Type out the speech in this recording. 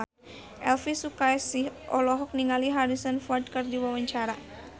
Elvi Sukaesih olohok ningali Harrison Ford keur diwawancara